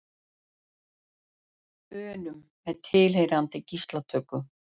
unum með tilheyrandi gíslatöku.